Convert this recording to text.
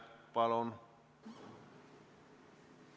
Palun!